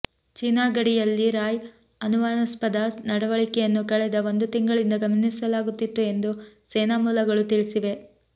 China ಗಡಿಯಲ್ಲಿ ರಾಯ್ ಅನುಮಾನಾಸ್ಪದ ನಡವಳಿಕೆಯನ್ನು ಕಳೆದ ಒಂದು ತಿಂಗಳಿಂದ ಗಮನಿಸಲಾಗುತ್ತಿತ್ತು ಎಂದು ಸೇನಾ ಮೂಲಗಳು ತಿಳಿಸಿವೆ